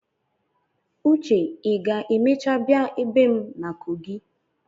Uche ị ga-emecha bịa ebe m na kogi?